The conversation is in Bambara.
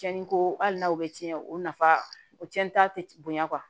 Cɛnni ko hali n'aw bɛ tiɲɛ o nafa o cɛnta tɛ bonya